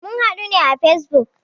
Mun hadu ne à Facebook